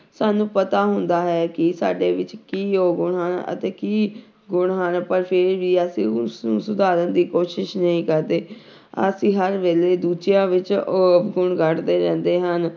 ਸਾਨੂੰ ਪਤਾ ਹੁੰਦਾ ਹੈ ਕਿ ਸਾਡੇ ਵਿੱਚ ਕੀ ਔਗੁਣ ਅਤੇ ਕੀ ਗੁਣ ਹਨ, ਪਰ ਫਿਰ ਵੀ ਅਸੀਂ ਉਸ ਨੂੰ ਸੁਧਾਰਨ ਦੀ ਕੋਸ਼ਿਸ਼ ਨਹੀਂ ਕਰਦੇ ਅਸੀਂ ਹਰ ਵੇਲੇ ਦੂਜਿਆਂ ਵਿੱਚ ਔਗੁਣ ਕੱਢਦੇ ਰਹਿੰਦੇ ਹਾਂ,